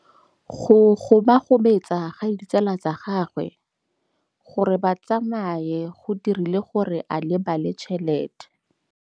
Go gobagobetsa ga ditsala tsa gagwe, gore ba tsamaye go dirile gore a lebale tšhelete.